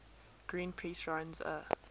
greenpeace runs a